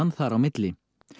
þar á milli